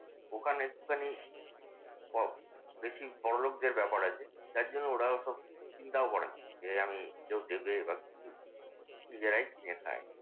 ওখানে একটুখানি fog perfume বড়লোকদের ব্যাপার আরকি। যার জন্যে ওরা ওসব চিন্তাও করে না। যে আমি কেউ দেবে বা কিছু নিজেরাই কিনে খায়।